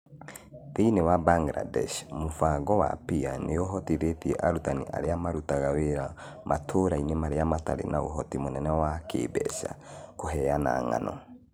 Thĩinĩ wa Bangladesh, mũbango wa PEER nĩ ũhotithĩtie arutani arĩa marutaga wĩra matũũra-inĩ marĩa matarĩ na ũhoti mũnene wa kĩĩmbeca kũheana ng'ano